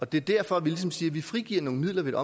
det er derfor vi ligesom siger at vi frigiver nogle midler ved